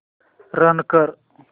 run कर